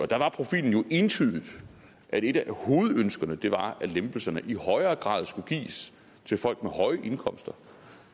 der var profilen jo entydigt at et af hovedønskerne var at lempelserne i højere grad skulle gives til folk med høje indkomster